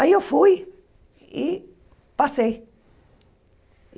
Aí eu fui e passei.